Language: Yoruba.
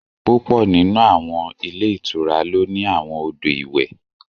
Púpọ̀ nínú àwọn ilé ìtura ló ní àwọn odò ìwẹ̀